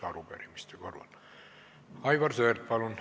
Aivar Sõerd, palun!